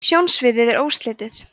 sjónsviðið er óslitið